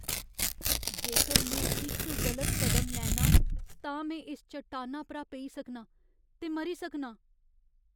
जेकर में इक गलत कदम लैन्नां, तां में इस चट्टाना परा पेई सकनां ते मरी सकनां।